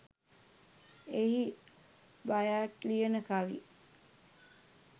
එහි බයාට් ලියන කවි